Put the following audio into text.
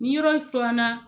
Ni yɔrɔ in furanna